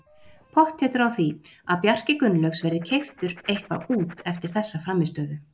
Pottþéttur á því að Bjarki Gunnlaugs verði keyptur eitthvað út eftir þessa frammistöðu.